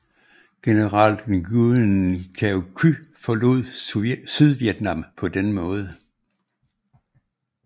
General Nguyen Cao Ky forlod Sydvietnam på denne måde